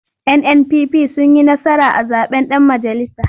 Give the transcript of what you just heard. NNPP sun yi nasara a zaɓen ɗan majalisa.